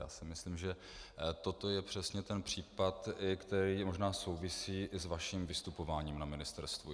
Já si myslím, že toto je přesně ten případ, který možná souvisí i s vaším vystupováním na ministerstvu.